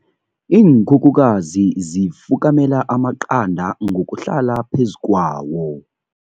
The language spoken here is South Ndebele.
Iinkhukhukazi zifukamela amaqanda ngokuhlala phezu kwawo.